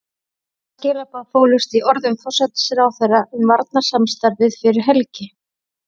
Hvaða skilaboð fólust í orðum forsætisráðherra um varnarsamstarfið fyrir helgi?